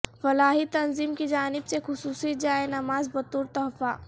فلاحی تنظیم کی جانب سے خصوصی جائے نماز بطور تحفہ